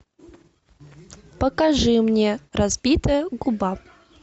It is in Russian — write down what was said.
покажи мне разбитая губа